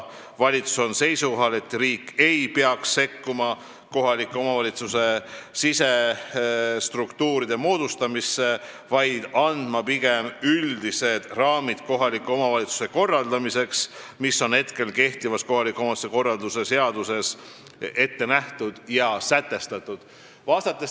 Valitsus on seisukohal, et riik ei peaks sekkuma kohaliku omavalitsuse sisestruktuuride moodustamisse, vaid peaks andma pigem üldised raamid kohaliku omavalitsuse töö korraldamiseks, need on aga kehtivas kohaliku omavalitsuse korralduse seaduses ette nähtud ja sätestatud.